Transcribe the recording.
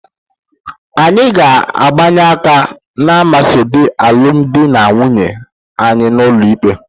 Anyị ga-abịanye aka n'asambodo alụmdi na nwunye anyị n'ụlọ ikpe